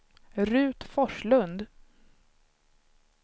Ruth Forslund